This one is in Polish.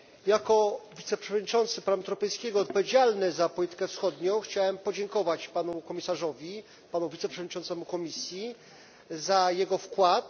Jako wiceprzewodniczący Parlamentu Europejskiego odpowiedzialny za politykę wschodnią chciałem podziękować Panu Komisarzowi, panu wiceprzewodniczącemu Komisji, za jego wkład.